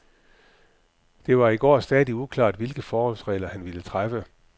Det var i går stadig uklart, hvilke forholdsregler han ville træffe.